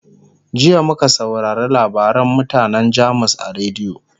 jiya muka saurare labarin mutanan jamus a rediyo